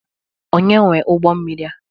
Onye nwe ụgbọmmiri a?